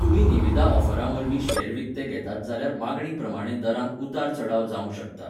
तुमी निविदा ऑफरा वरवीं शेअर विकते घेतात जाल्यार मागणी प्रमाणें दरांत उतार चडाव जावंक शकता.